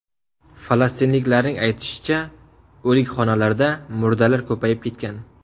Falastinliklarning aytishicha, o‘likxonalarda murdalar ko‘payib ketgan.